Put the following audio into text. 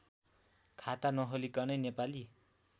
खाता नखोलिकनै नेपाली